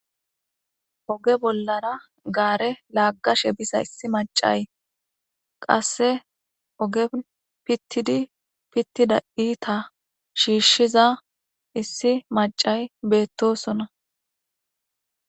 Oge bollara gaare laaggashe biza issi macay qasse oge pittidi pittida iita shiishshiza issi macay beettosona.